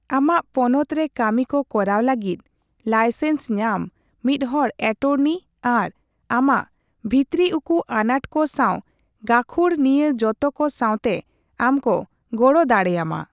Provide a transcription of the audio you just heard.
ᱟᱢᱟᱜ ᱯᱚᱱᱚᱛ ᱨᱮ ᱠᱟᱢᱤᱠᱚ ᱠᱚᱨᱟᱣ ᱞᱟᱹᱜᱤᱫ ᱞᱟᱭᱥᱮᱱᱥ ᱧᱟᱢ ᱢᱤᱫ ᱦᱚᱲ ᱮᱴᱚᱨᱱᱤ ᱟᱨ ᱟᱢᱟᱜ ᱵᱷᱤᱛᱨᱤᱩᱠᱩ ᱟᱱᱟᱴ ᱠᱚ ᱥᱟᱶ ᱜᱟᱹᱠᱷᱩᱲ ᱱᱤᱭᱟᱹ ᱡᱚᱛᱚᱠᱚ ᱥᱟᱣᱛᱮ ᱟᱢ ᱠᱚ ᱜᱚᱲᱚ ᱫᱟᱲᱮᱭᱟᱢᱟ ᱾